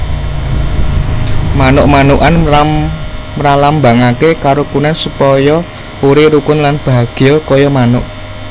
Manuk manukan mralambangake karukunan supaya uri rukun lan bahagya kaya manuk